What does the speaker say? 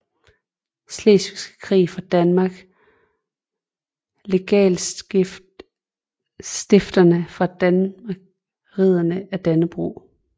Slesvigske Krig fra Danmark Legatstiftere fra Danmark Riddere af Dannebrog